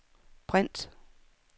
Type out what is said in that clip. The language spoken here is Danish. print